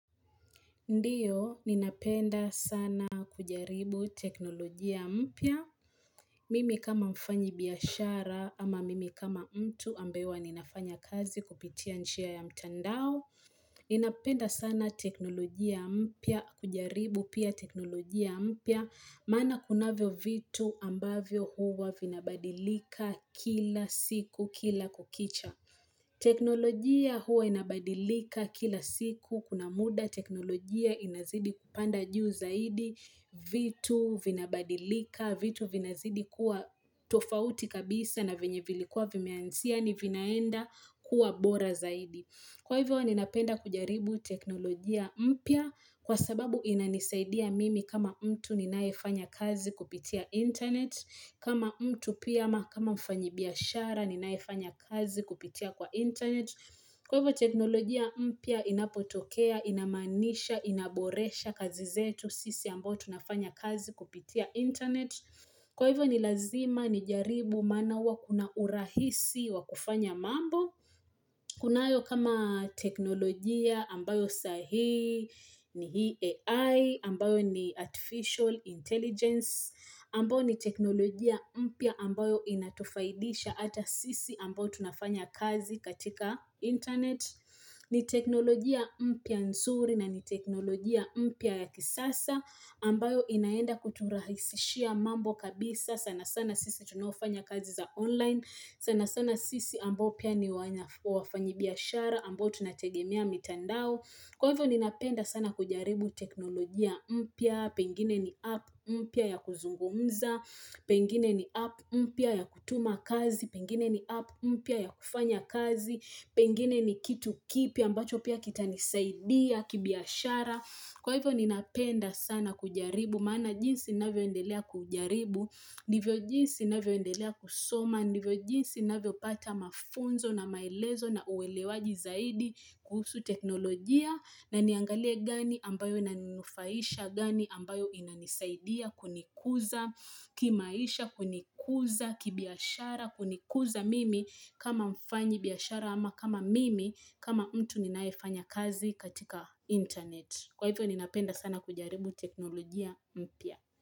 Ndiyo, ninapenda sana kujaribu teknolojia mpya. Mimi kama mfanyi biashara ama mimi kama mtu ambaye huwa ninafanya kazi kupitia njia ya mtandao. Ninapenda sana teknolojia mpya kujaribu pia teknolojia mpya. Maana kunavyo vitu ambavyo huwa vinabadilika kila siku kila kukicha. Teknolojia huwa inabadilika kila siku kuna muda teknolojia inazidi kupanda juu zaidi vitu vinabadilika vitu vinazidi kuwa tofauti kabisa na venye vilikuwa vimeanzia ni vinaenda kuwa bora zaidi. Kwa hivyo ninapenda kujaribu teknolojia mpya kwa sababu inanisaidia mimi kama mtu ninayefanya kazi kupitia internet. Kama mtu pia ama kama mfanyibiashara ninayefanya kazi kupitia kwa internet. Kwa hivyo teknolojia mpya inapotokea, inamaanisha, inaboresha kazi zetu sisi ambao tunafanya kazi kupitia internet. Kwa hivyo ni lazima nijaribu maana huwa kuna urahisi wa kufanya mambo. Kunayo kama teknolojia ambayo sahii ni AI ambayo ni Artificial Intelligence ambayo ni teknolojia mpya ambayo inatufaidisha ata sisi ambao tunafanya kazi katika internet. Ni teknolojia mpya nzuri na ni teknolojia mpya ya kisasa ambayo inaenda kuturahisishia mambo kabisa sana sana sisi tunaofanya kazi za online sana sana sisi ambao pia ni wafanyibiashara ambao tunategemea mitandao kwa hivyo ninapenda sana kujaribu teknolojia mpya pengine ni app mpya ya kuzungumza pengine ni app mpya ya kutuma kazi pengine ni app mpya ya kufanya kazi Pengine ni kitu kipya ambacho pia kitanisaidia, kibiashara Kwa hivyo ninapenda sana kujaribu Maana jinsi ninavyo endelea kujaribu Ndivyo jinsi ninavyo endelea kusoma Ndivyo jinsi ninavyo pata mafunzo na maelezo na uwelewaji zaidi kuhusu teknolojia na niangalie gani ambayo inaninufaisha gani ambayo inanisaidia kunikuza kimaisha kunikuza, kibiashara, kunikuza mimi kama mfanyibiashara ama kama mimi kama mtu ninaefanya kazi katika internet. Kwa hivyo ninapenda sana kujaribu teknolojia mpya.